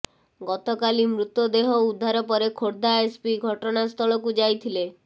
ଗତକାଲି ମୃତଦେହ ଉଦ୍ଧାର ପରେ ଖୋର୍ଦ୍ଧା ଏସ୍ପି ଘଟଣାସ୍ଥଳକୁ ଯାଇଥିଲେ